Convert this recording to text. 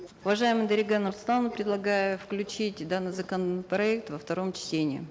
уважаемая дарига нурсултановна предлагаю включить данный законопроект во втором чтении